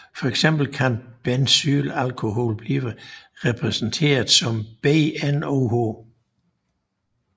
For eksempel kan benzylalkohol bliver repræsenteret som BnOH